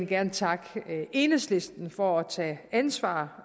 gerne takke enhedslisten for at tage ansvar